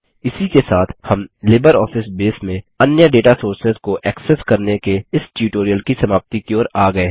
इसी के साथ हम लिबरऑफिस बेस में अन्य डेटा सोर्सेस को एक्सेस करने के इस ट्यूटोरियल की समाप्ति की ओर आ गये हैं